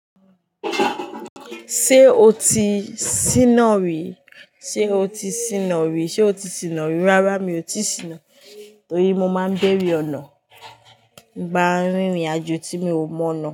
Ṣé o ti síná rí? Ṣé o ti síná rí? Ṣé o ti síná rí? Rárá mi ò tíì síná torí mo máa ń béèrè ọ̀nà ń ba rìnrìn àjò tí mi ò mọ̀ nọ́